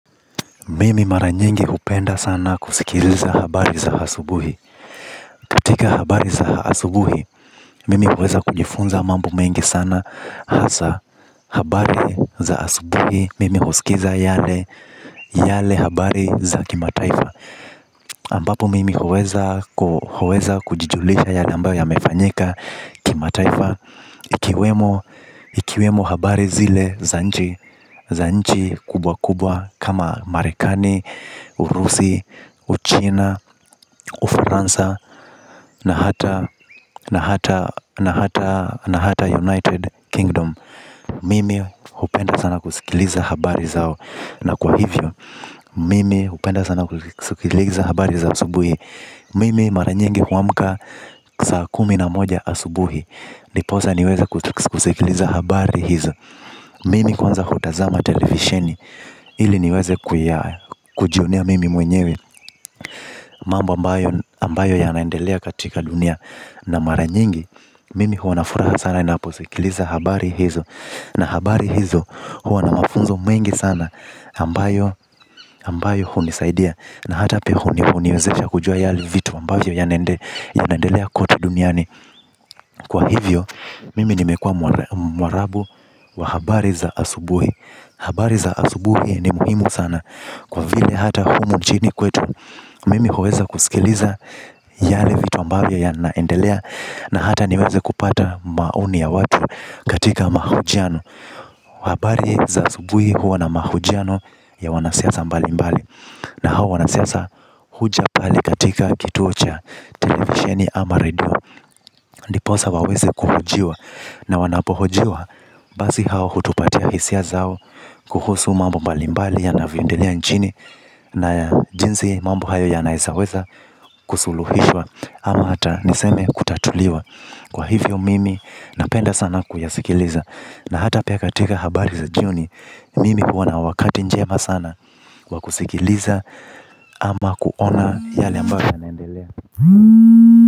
Mimi mara nyingi hupenda sana kusikiliza habari za asubuhi. Katika habari za asubuhi, mimi huweza kujifunza mambo mengi sana hasa habari za asubuhi. Mimi husikiza yale habari za kimataifa. Ambapo mimi huweza kujijulisha yale ambayo yamefanyika kimataifa. Ikiwemo habari zile za nchi za nchi kubwa kubwa kama marekani, urusi, uchina, ufaransa na hata United Kingdom. Mimi hupenda sana kusikiliza habari zao. Na kwa hivyo mimi hupenda sana kusikiliza habari za asubuhi. Mimi mara nyingi huamka saa kumi na moja asubuhi. Ndiposa niweze kusikiliza habari hizo. Mimi kwanza hutazama televisheni. Ili niweze kujionea mimi mwenyewe. Mambo ambayo yanaendelea katika dunia na mara nyingi mimi huwa na furaha sana ninaposikiliza habari hizo. Na habari hizo huwa na mafunzo mengi sana ambayo hunisaidia na hata pia huniwezesha kujua yale vitu ambayo yanaendelea kwote duniani. Kwa hivyo, mimi nimekua mwarabu wa habari za asubuhi. Habari za asubuhi ni muhimu sana. Kwa vile hata humu nchini kwetu. Mimi huweza kusikiliza yale vitu ambayo yanaendelea na hata niweze kupata maoni ya watu katika mahojiano. Habari za asubuhi huwa na mahojiano ya wanasiasa mbali mbali. Na hawa wanasiasa huja pale katika kituo cha televisheni ama radio. Ndiposa waweze kuhojiwa na wanapohojiwa, basi hao hutupa hisia zao. Kuhusu mambo mbalimbali yanavyoendelea nchini. Na jinsi mambo hayo yanaezaweza kusuluhishwa. Ama hata niseme kutatuliwa. Kwa hivyo mimi napenda sana kuyasikiliza. Na hata pia katika habari za jioni mimi huwa na wakati njema sana wa kusikiliza ama kuona yale ambayo yaendelea.